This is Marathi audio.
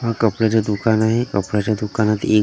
हा कपड्याचा दुकान आहे कपड्याच्या दुकानात एक --